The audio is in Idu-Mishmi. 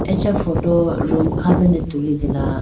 acha photo room kha done tulitela.